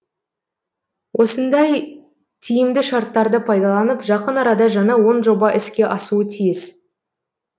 осындай тиімді шарттарды пайдаланып жақын арада жаңа он жоба іске асуы тиіс